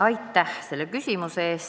Aitäh!